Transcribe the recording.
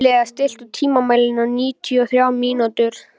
Elea, stilltu tímamælinn á níutíu og þrjár mínútur.